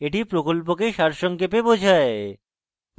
এটি প্রকল্পকে সারসংক্ষেপে বোঝায়